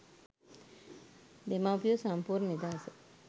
දෙමව්පියෝ සම්පූර්ණ නිදහස.